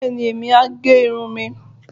Bẹ́ẹ̀ni, èmi á gẹ irun mi